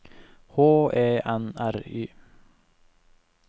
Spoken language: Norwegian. H E N R Y